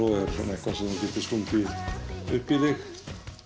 eitthvað sem þú getur stungið upp í þig